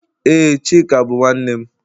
Ee, Chika bụ nwanne m